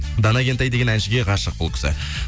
дана кентай деген әншіге ғашық бұл кісі